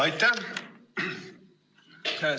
Aitäh!